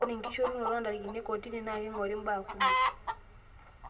Ore enkishushorunoto ondarikini ekotini na kengori embaa kumok